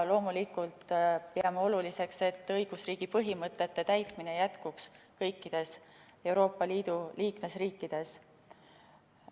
Loomulikult peame oluliseks, et õigusriigi põhimõtete järgimine jätkuks kõikides Euroopa Liidu liikmesriikides.